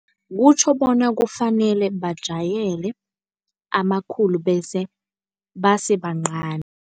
Kutjho bona kufanele bajayele amakhulu base bancani.